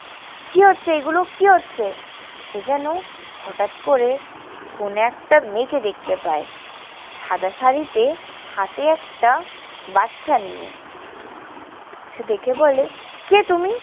কি হচ্ছে এগুলো? কি হচ্ছে? সে যেন হঠাৎ করে কোনো একটা মেয়েকে দেখতে পায়। সাদা শাড়িতে হাতে একটা বাচ্চা নিয়ে। সে দেখে বলে, কে তুমি?